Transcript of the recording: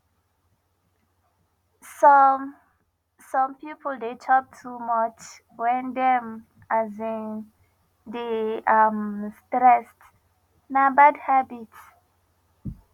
some some people dey chop too much when dem um dey um stressed na bad habit